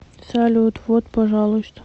салют вот пожалуйста